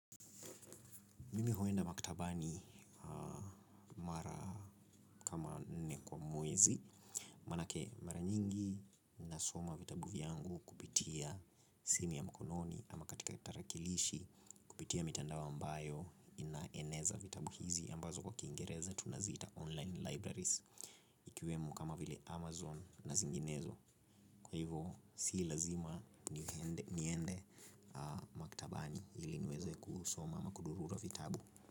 Mimi huenda maktabani mara kama nne kwa mwezi. Manake mara nyingi nasoma vitabu vyangu kupitia simu ya mkononi. Ama katika tarakilishi kupitia mitandao ambayo inaeneza vitabu hizi ambazo kwa kiingereza tunaziita online libraries. Ikiwemo kama vile Amazon na zinginezo kwa hivo si lazima niende maktabani ili niweze kusoma ama kudururua vitabu.